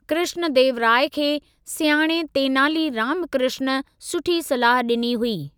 कृष्णदेवराय खे सियाणे तेनाली रामकृष्ण सुठी सलाह ॾिनी हुई।